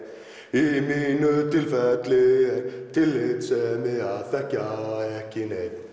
í mínu tilfelli er tillitssemi að þekkja ekki neinn